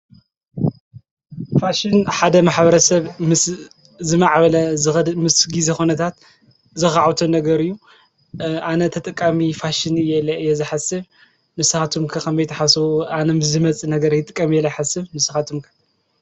ፋሽን ሓደ ማ/ሰብ ምስ ዝማዕበለ ዝኸድ ምስ ጊዜ ኩነታት ዘኻዕብቶ ነገር እዩ፡፡ ኣነ ተጠቃሚ ፋሽን እየ ኢለ ዝሓስብ። ንስኻትኩም ከ ከመይ ትሓስቡ ኣነ ምስ ዝመፅእ ነገር ይጥቀም እየ ኢለ ይሓስብ ንስኻትኩም ከ?